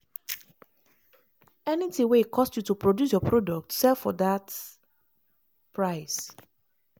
anytin wey e cost you to produce your product sell for dat price.